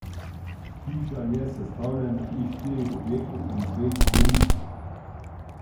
Hiša je sestavljena iz štirih objektov in dveh dvorišč.